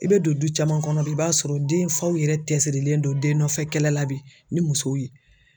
I bɛ don du caman kɔnɔ bi i b'a sɔrɔ den faw yɛrɛ cɛsirilen don den nɔfɛ kɛlɛ la bi ni muso ye.